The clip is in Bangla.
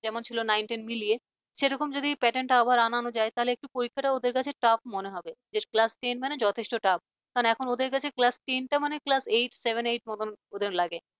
যেমন ছিল nine ten মিলিয়ে সেরকম যদি pattern টা আবার আনানো যায় তাহলে পরীক্ষাটা ওদের কাছে tuff মনে হবে যে classten মানে যথেষ্ট tuff । কারণ এখন ওদের কাছে class ten টা মানে class seven eight মতন লাগে